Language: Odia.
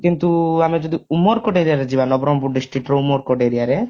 କିନ୍ତୁ ଆମେ ଯଦି ଉମେରକୋଟ area ରେ ଯିବା ନା ନବରଙ୍ଗପୁର district ରୁ ଉମେରକୋଟ area ରେ